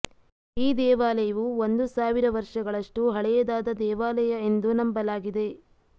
ಈ ದೇವಾಲಯವು ಒಂದು ಸಾವಿರ ವರ್ಷಗಳಷ್ಟು ಹಳೆಯದಾದ ದೇವಾಲಯ ಎಂದು ನಂಬಲಾಗಿದೆ